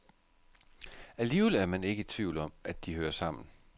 Alligevel er man ikke i tvivl om, at de hører sammen.